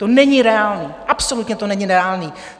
To není reálné, absolutně to není reálné!